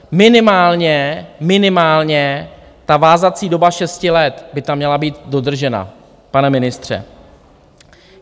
Minimálně, minimálně ta vázací doba šesti let by tam měla být dodržena, pane ministře!